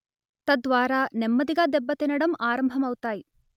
తద్వారా నెమ్మదిగా దెబ్బతినడం ఆరంభమవుతాయి